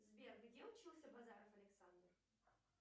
сбер где учился базаров александр